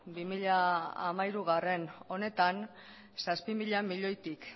bi mila hamairugarrena honetan zazpi mila milioitik